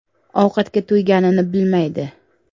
Ovqatga to‘yganini bilmaydi.